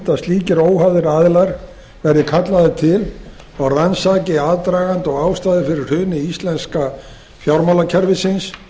að slíkir óháðir aðilar verði kallaðir til og rannsaki aðdraganda og ástæður fyrir hruni íslenska fjármálakerfisins